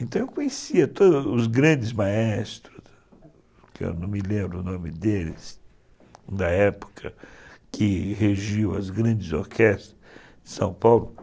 Então eu conhecia todos os grandes maestros, que eu não me lembro o nome deles, da época que regiu as grandes orquestras de São Paulo.